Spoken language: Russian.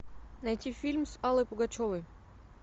найти фильм с аллой пугачевой